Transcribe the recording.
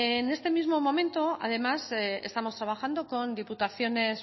en este mismo momento además estamos trabajando con diputaciones